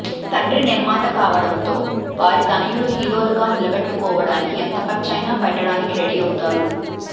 తండ్రి నిర్మాత కావడంతో వారి తనయులు హీరోలుగా నిలబెట్టుకోవడానికి ఎంత ఖర్చైన పెట్టడానికి రెడీ అవుతారు